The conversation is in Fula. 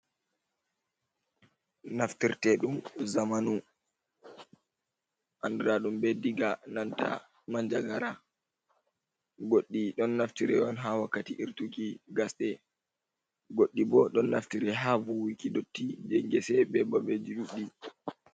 Naftirte ɗum zamanu andiraɗum be diga nanta manja gara, goɗɗi ɗon naftiri on ha wakkati irtuki gasɗe goɗɗi bo ɗon naftiri ha vuwiki dotti je gese be babeji ɗuɗɗi.